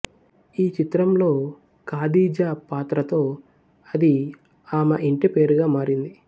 ఈ చిత్రంలో ఖాదీజా పాత్రతో అది ఆమె ఇంటి పేరుగా మారింది